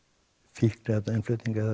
fíkniefnainnflutning eða